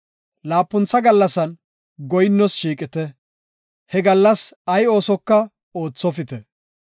Laapuntha gallasan goyinnoos shiiqite; he gallas ay oosoka oothopite.”